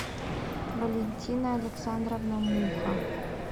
валентина александровна муха